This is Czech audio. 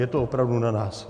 Je to opravdu na nás.